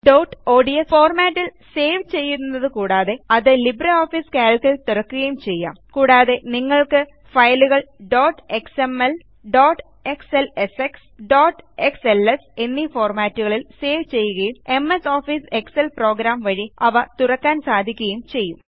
dot odsഫോർമാറ്റിൽ save ചെയ്യുന്നത് കൂടാതെ അത് ലിബ്രിയോഫീസ് കാൽക്ക് ൽ തുറക്കുകയും ചെയ്യാം കൂടാതെ നിങ്ങൾക്ക് ഫയലുകൾ ഡോട്ട് എക്സ്എംഎൽ ഡോട്ട് xlsxഡോട്ട് xlsഎന്നീ ഫോർമാറ്റുകളിൽ സേവ് ചെയ്യുകയും എംഎസ് ഓഫീസ് എക്സൽ programവഴി അവ തുറക്കാൻ സാധിക്കുകയും ചെയ്യും